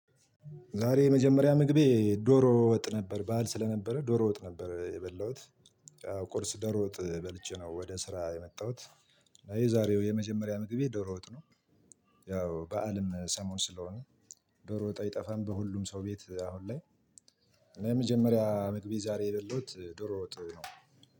ዛሬ የመጀመሪያ ምግቤ ዶሮ ወጥ ነበር በዓል ስለነበረ ዶሮ ወጥ ነበር የበላሁት። ቁርስ ዶሮ ወጥ በልቼ ነው ወደ ስራ የመጣሁት። የዛሬው የመጀመሪያ ምግቤ ዶሮ ወጥ ነው። ያው በዓልም ሰሞን ስለሆነ ዶሮ ወጥ አይጠፋም በሁሉም ሰው ቤት አሁን ላይ። እኔ የመጀመሪያ ምግቤ ዛሬ የበለሁት ዶሮ ወጥ ነው።